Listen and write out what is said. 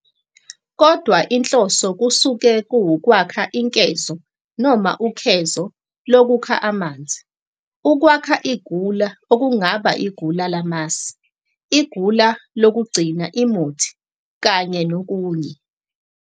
kodwa inhloso kusuke kuwukwakha inkezo noma ukhezo lokukha amanzi, ukwakha igula okungaba igula lamasi, igula lokugcina imuthi, kanye nokunye.